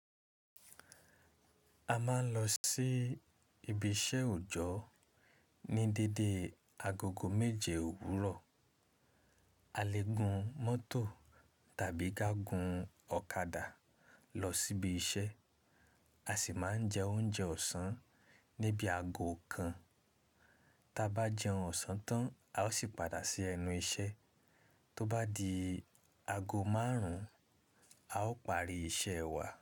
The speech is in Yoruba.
A máa ń lọ sí ibi iṣẹ́ òjọ́ ní dédé agogo méje òwúrọ̀. A lè gun mọ́tò tàbí ká gun ọ̀kadà lọ síbi iṣẹ́. A sì máa ń jẹ oúnjẹ ọ̀sán níbi ago kan, ta bá jẹun ọ̀sán tán, a ó sì padà sí ẹnu iṣẹ́. Tó bá di ago márùn-ún, a ó parí iṣẹ́ wa.